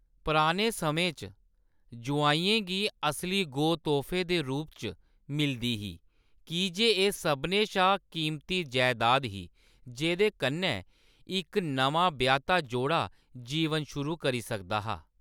पराने समें च जोआइयें गी असली गौ तोह्‌‌फे दे रूप च मिलदी ही, कीजे एह्‌‌ सभनें शा कीमती जैदाद ही जेह्‌दे कन्नै इक नमां ब्याह्‌ता जोड़ा जीवन शुरू करी सकदा हा।